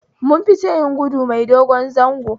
Mun fita yin gudu mai dogon zango